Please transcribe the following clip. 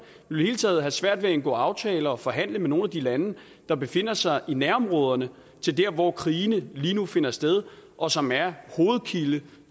vi ville taget have svært ved at indgå aftaler og forhandle med nogle af de lande der befinder sig i nærområderne til der hvor krigene lige nu finder sted og som er hovedkilde